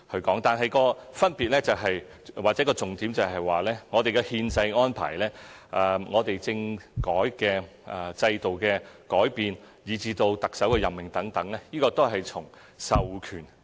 不過，分別或重點是，我們的憲制安排、政治制度的改變，以至特首的任命等，均從授權而來。